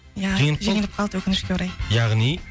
ия жеңіліп қалды жеңіліп қалды өкінішке орай яғни